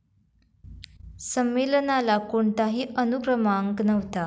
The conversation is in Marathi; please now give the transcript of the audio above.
संमेलनाला कोणताही अनुक्रमांक नव्हता.